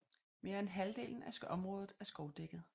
Mere end halvdelen af området er skovdækket